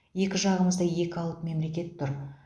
екі жағымызда екі алып мемлекет тұр